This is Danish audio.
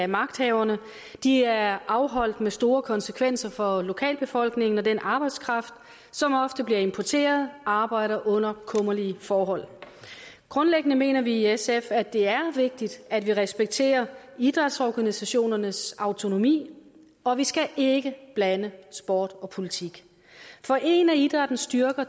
magthaverne de er afholdt med store konsekvenser for lokalbefolkningen og den arbejdskraft som ofte bliver importeret arbejder under kummerlige forhold grundlæggende mener vi i sf at det er vigtigt at vi respekterer idrætsorganisationernes autonomi og vi skal ikke blande sport og politik for en af idrættens styrker